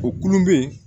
O kulu bɛ yen